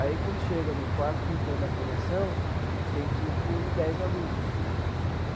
Aí, quando chega no quarto, quinto ano da formação, tem tipo dez alunos.